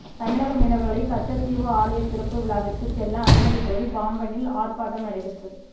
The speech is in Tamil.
தமிழக மீனவர்களை கச்சத்தீவு ஆலயத் திறப்புவிழாவிற்கு செல்ல அனுமதி கோரி பாம்பனில் ஆர்பாட்டம் நடைபெற்றது